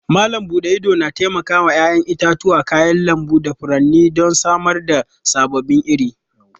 Malam bude idona taimakawa 'ya'yan itatuwa, kayan lambu da furanni don samar da sababbin iri.